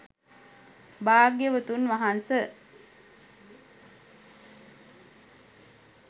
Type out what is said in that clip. භාග්‍යවතුන් වහන්ස